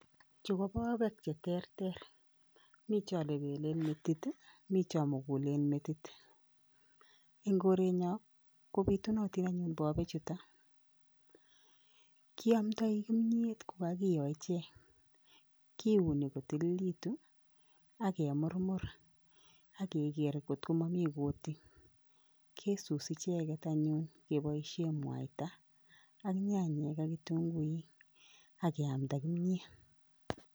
Chuu ko bobeek cheterter, mii chon lebelen metit mii chomukulen metit, eng' korenyon kobitunotin anyun bobechuto, kiomndoi kimnyet ko kakiyo ichek, kiuni kotililekitun ak kemurmur AK keker ng'ot komomii kutik, kisusi icheket anyun keboishen mwaita ak nyanyik ak kitung'uik ak keamnda kimnyet.